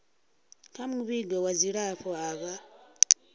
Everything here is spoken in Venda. kha muvhigo wa dzilafho avho